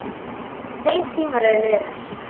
Þeir tímar eru liðnir.